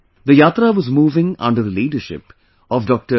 The yatra was moving under the leadership of Dr